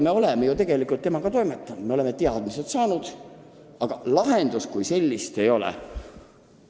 Me oleme tema andmetega toimetanud, me oleme info teadmiseks võtnud, aga lahendust kui sellist ei ole.